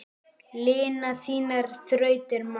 Lina þínar þrautir má.